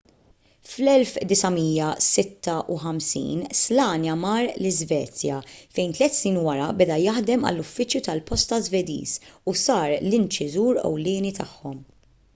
fl-1956 słania mar l-iżvezja fejn tliet snin wara beda jaħdem għall-uffiċċju tal-posta żvediż u sar l-inċiżur ewlieni tagħhom